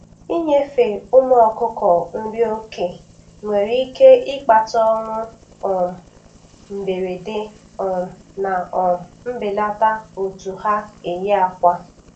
Inyefe ụmụ ọkụkọ nri oke nwere ike ịkpata ọnwụ um mberede um na um mbelata otu ha eyi akwa.